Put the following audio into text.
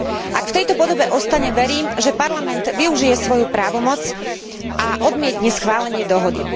Ak v tejto podobe ostane, verím, že Parlament využije svoju právomoc a odmietne schválenie dohody.